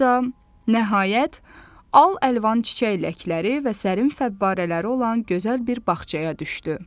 Sonra da nəhayət al-əlvan çiçək ləçəkləri və sərin fəvvarələri olan gözəl bir bağçaya düşdü.